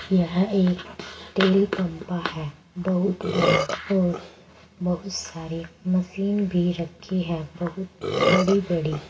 यह एक तेल पम्पा है बहुत बड़ा और बहुत सारी मशीन भी रखी है बहुत बड़ी बड़ी।